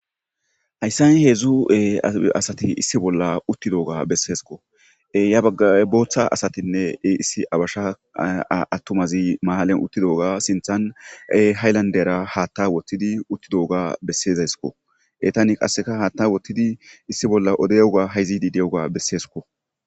hayssani hedzdzu7e asati issi bolla uttidoga besseeskko ya bagga booththa asatinne issi abasha attumazi maalen uttidoga sinthan hayllandera haatta wottidi uttidooga bessezayskko etani qasseka haatta wottidi issi bolla ode yoga hayzidi de7oga besseeskko